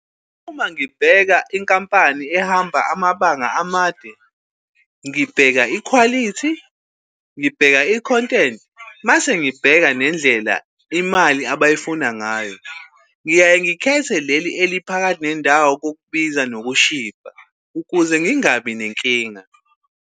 Uma ngibheka inkampani ehamba amabanga amade ngibheka ikhwalithi, ngibheka i-content mase ngibheka nendlela imali abayifunayo ngayo. Ngiyaye ngikhethe leli eliphakathi nendawo kokubiza, ngokushibha ukuze ngingabi nenkinga.